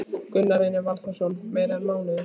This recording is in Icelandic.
Gunnar Reynir Valþórsson: Meira en mánuður?